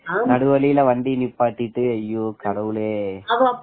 நடுவழியில் வண்டியை நிப்பாட்டிட்டு ஐயோ ஐயோ கடவுளே